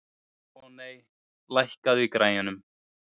Voney, lækkaðu í græjunum.